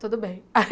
Tudo bem.